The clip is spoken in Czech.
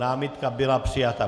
Námitka byla přijata.